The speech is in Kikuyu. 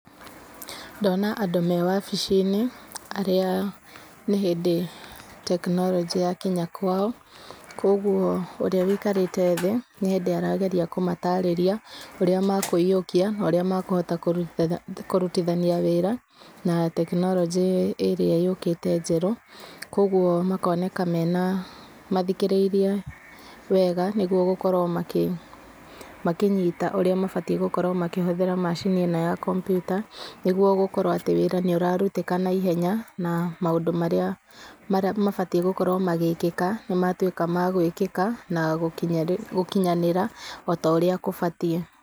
Ndona andũ mewabi-inĩ, arĩa nĩ hĩndĩ tekinoronjĩ yakinya kwao, koguo ũrĩa ũikarĩte thĩ, nĩ hĩndĩ aramatarĩria ũrĩa mekũiyũkia ũrĩa mekũhota kũrutithania wĩra na tekinoronjĩ ĩrĩa yũkĩte njerũ. Koguo makoneka mena, mathikĩrĩirie wega, nĩguo gũkorwo makĩnyita ũrĩa mabatiĩ gũkorwo makĩhũthĩra macini ĩno ya kompyuta, nĩguo gũkorwo atĩ wĩra nĩ ũrarutĩka naihenya, na maũndũ marĩa mabatiĩ gũkorwo magĩkĩka, nĩmatuĩka magũĩkĩka, na gũkinyanĩra ũrĩa gũbatiĩ.